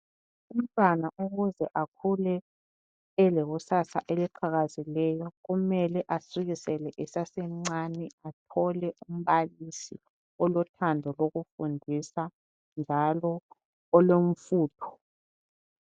Umntwana ukuze akhule elekusasa eliqhakazileyo. Kumele asukisele esasemncane. Athole umbalisi olothando lokumfundisa, njalo olomfutho.